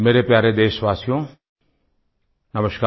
मेरे प्यारे देशवासियो नमस्कार